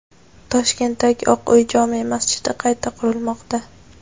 Toshkentdagi "Oq uy" jome masjidi qayta qurilmoqda.